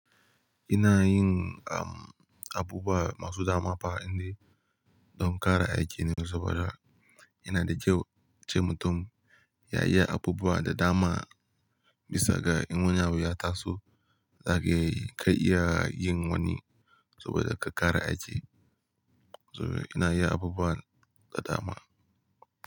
Ina yin, abubuwa masu dama fa inda don ƙara aiki ne saboda ina da kyau, a ce mutum yayi abubuwa da dama bisa ga in wani abu ya taso za kai iya yin wani saboda ka ƙara aiki. Saboda ina yi abubuwa da dama.